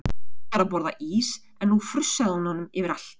Þura var að borða ís en nú frussaði hún honum yfir allt.